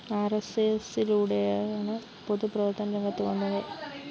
ആര്‍എസ്എസിലൂടെയാണ് പൊതു പ്രവര്‍ത്തനരംഗത്ത് വന്നത്